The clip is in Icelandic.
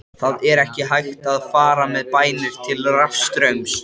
Það er ekki hægt að fara með bænir til rafstraums.